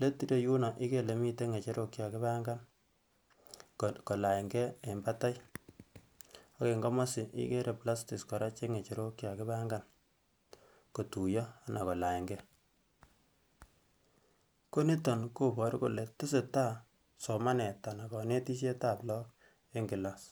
let ireyuno igere ile miten ngecherok che kakipangan kolanygee en batai ak en komosii igere platics koraa che ngecherok che kakipangan kotuyoo ana kolanygee ko niton koboru kolee tesetai somanet ana konetisyet ab look en class